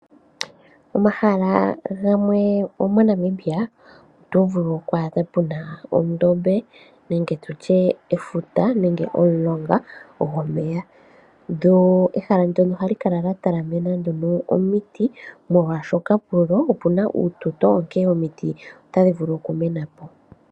Pomahala gamwe mo Namibia otovulu oku adha puna ondombe nenge efuta nenge omulonga gomeya. Ehala ndono ohali kalan lya talamenwa nduno omiti molwaashoka pudho opuna uututo omiti otadhi vulu oku menapo.